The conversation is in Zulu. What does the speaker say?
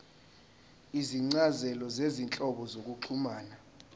izincazelo zezinhlobo zokuxhumana